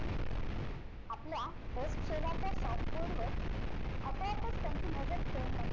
आपल्या शेजारच्या वर आपोआपच त्यांची नझर खेळून राहिली